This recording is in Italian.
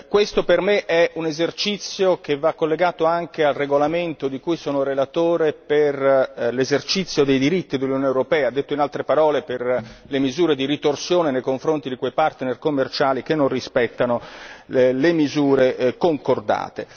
Questo per me è un esercizio che va collegato anche al regolamento di cui sono relatore per l'esercizio dei diritti dell'Unione europea detto in altre parole per le misure di ritorsione nei confronti di quei partner commerciali che non rispettano le misure concordate.